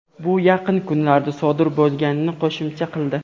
bu yaqin kunlarda sodir bo‘lmaganini qo‘shimcha qildi.